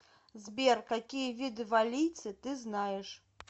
сбер какие виды валлийцы ты знаешь